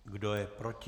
Kdo je proti?